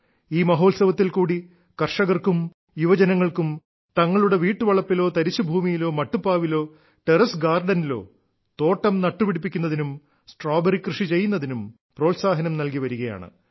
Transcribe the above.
ഈ മഹോത്സവത്തിൽക്കൂടി കർഷകർക്കും യുവജനങ്ങൾക്കും തങ്ങളുടെ വീട്ടുവളപ്പിലോ തരിശുഭൂമിയിലോ മട്ടുപ്പാവിലോ ടെറസ് ഗാർഡനിലോ തോട്ടം നട്ടുപിടിപ്പിക്കുന്നതിനും സ്ട്രോബെറി കൃഷി ചെയ്യുന്നതിനും പ്രോത്സാഹനം നൽകി വരികയാണ്